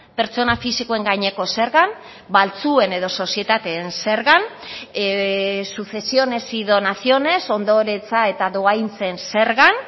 pertsona fisikoen gaineko zergan baltzuen edo sozietateen zergan sucesiones y donaciones ondoretza eta dohaintzen zergan